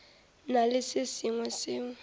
na le se sengwe seo